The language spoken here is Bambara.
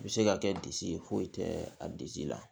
I bɛ se ka kɛ disi ye foyi tɛ a disi la